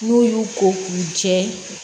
N'u y'u ko k'u jɛ